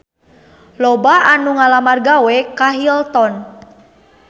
Loba anu ngalamar gawe ka Hilton